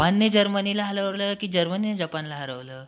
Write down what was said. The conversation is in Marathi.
जपान ने जर्मनी ला हरवलं कि जर्मनीने जपान ला हरवलं?